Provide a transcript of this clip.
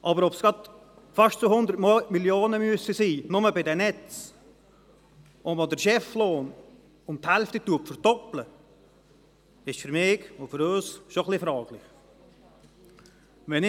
Aber ob es gerade fast 200 Mio. Franken sein müssen, nur bei den Netzen, und dass man den Cheflohn um die Hälfte verdoppelt, ist für mich und für uns schon etwas fragwürdig.